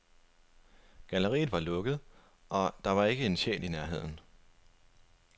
Galleriet var lukket, og der var ikke en sjæl i nærheden.